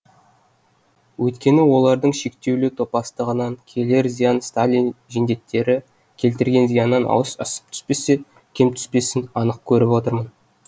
өйткені олардың шектеулі топастығынан келер зиян сталин жендеттері келтірген зияннан асып түспесе кем түспесін анық көріп отырмын